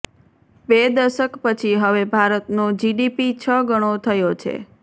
બે દશક પછી હવે ભારતનો જીડીપી છ ગણો થયો છે